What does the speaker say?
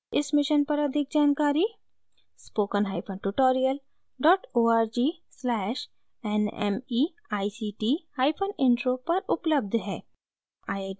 इस mission पर अधिक जानकारी spokentutorial org/nmeictintro पर उपलब्ध है